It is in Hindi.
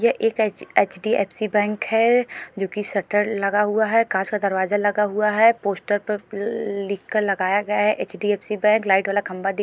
ये एक एच_डी_एफ_सी बैंक है जो कि शटर लगा हुआ है कांच का दरवाजा लगा हुआ है पोस्टर पर लिखकर लगाया गया है एच_डी_एफ_सी बैंक लाइट वाला खंबा।